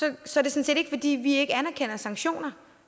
det sådan set ikke fordi vi ikke anerkender sanktioner